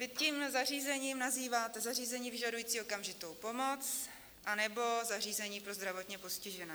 Vy tím zařízením nazýváte zařízení vyžadující okamžitou pomoc anebo zařízení pro zdravotně postižené.